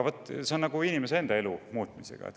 See on nagu inimese enda elu muutmisega.